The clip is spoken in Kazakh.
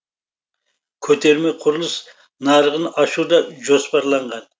көтерме құрылыс нарығын ашу да жоспарланған